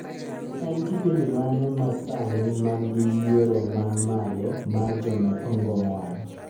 en kipindi mane ma sani man gi yiero man malo mar jonee ongong wang